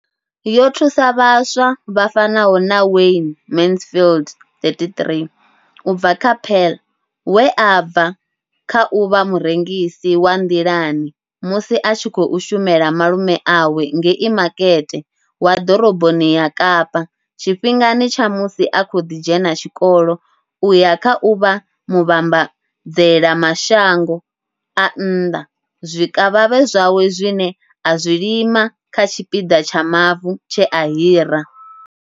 Yo thusa vhaswa vha fanaho na Wayne Mansfield 33 u bva Paarl, we a bva kha u vha murengisi wa nḓilani musi a tshi khou shumela malume awe ngei makete wa ḓoroboni ya Kapa tshifhingani tsha musi a kha ḓi dzhena tshikolo u ya kha u vha muvhambadzela mashango a nnḓa zwikavhavhe zwawe zwine a zwi lima kha tshipiḓa tsha mavu tshe a hira.